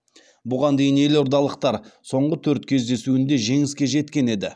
бұған дейін елордалықтар соңғы төрт кездесуінде жеңіске жеткен еді